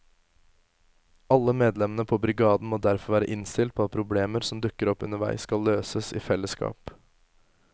Alle medlemmene på brigaden må derfor være innstilt på at problemer som dukker opp underveis skal løses i fellesskap.